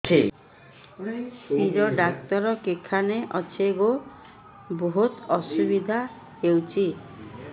ଶିର doctor କେଖାନେ ଅଛେ ଗୋ ବହୁତ୍ ଅସୁବିଧା ହଉଚି